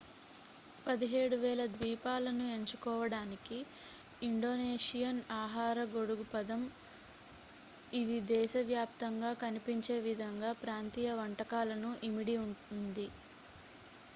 17,000 ద్వీపాలను ఎంచుకోవడానికి ఇండోనేషియన్ ఆహార గొడుగు పదం ఇది దేశ వ్యాప్తంగా కనిపించే వివిధ ప్రాంతీయ వంటకాలను ఇమిడి ఉంది